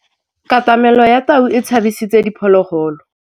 Katamêlô ya tau e tshabisitse diphôlôgôlô.